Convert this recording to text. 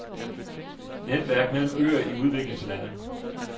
Netværk mellem øer i udviklingslande.